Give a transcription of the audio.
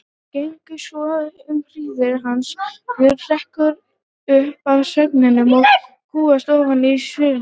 Gengur svo um hríð, uns Björn hrekkur upp af svefninum og kúgast ofan í svörðinn.